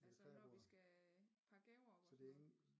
Altså når vi skal pakke gaver op og sådan noget